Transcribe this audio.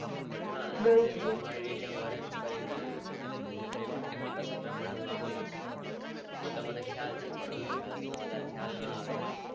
હા હા એ તો હું Arrange કરી ને એમની એમની પસંદ પ્રમાણે હું આપી દેશ એતો મને ખ્યાલ છે પણ grils માં મને ખ્યાલ ન આવે ને